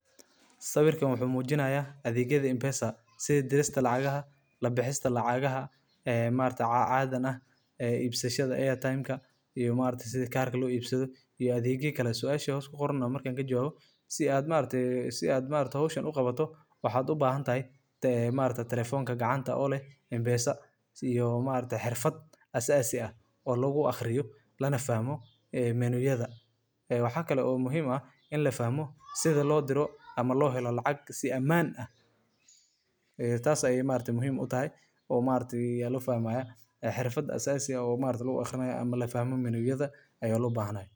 waa adeeg lacag-bixin iyo kaydin mobilka ku shaqeeya oo aad muhiim ugu ah bulshada wadankeena iyo guud ahaan Bariga Afrika. Adeeggan waxaa markii ugu horreysay la hirgeliyey Kenya, isagoo beddelay qaabka dhaqaalaha oo dad badan u suura geliyey inay si fudud lacag u diraan, u helaan, ama u kaydiyaan iyagoo adeegsanaya taleefannadooda gacanta, wuxuu ka caawiyaa dadka aan haysan koonto bangi inay si nabad ah.